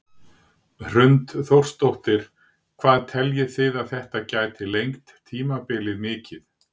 Hrund Þórsdóttir: Hvað teljið þið að þetta gæti lengt tímabilið mikið?